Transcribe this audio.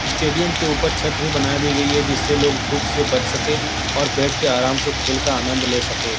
Stadium के ऊपर छत भी बना दी गई है जिससे लोग धूप से बच सके और बैठ के आराम से खेल का आनंद ले सके ।